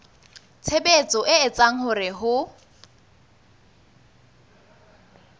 tshebetso e etsang hore ho